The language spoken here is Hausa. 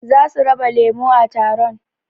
Zasu raba lemo a taron